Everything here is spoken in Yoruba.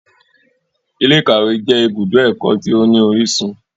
Ilé-ìkawe jẹ ìbùdó ẹkọ tí o ní orísun.